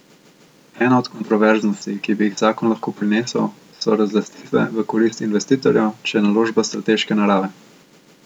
Ena od kontroverznosti, ki bi jih zakon lahko prinesel, so razlastitve v korist investitorjev, če je naložba strateške narave.